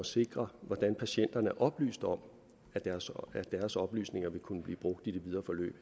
sikre hvordan patienterne er oplyst om at deres at deres oplysninger vil kunne blive brugt i det videre forløb